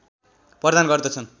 प्रदान गर्दछन्